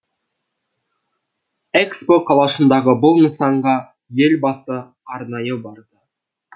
экспо қалашығындағы бұл нысанға елбасы арнайы барды